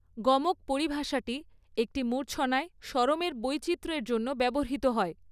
গমক পরিভাষাটি একটি মূর্ছনায় স্বরমের বৈচিত্র্যের জন্য ব্যবহৃত হয়।